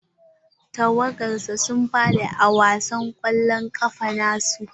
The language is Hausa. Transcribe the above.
Tawagar sa sun faɗi a wasan kwallon kafa na su.